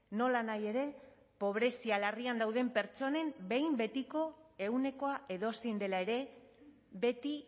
nolanahi ere pobrezia larrian dauden pertsonen behin betiko ehunekoa edozein dela ere beti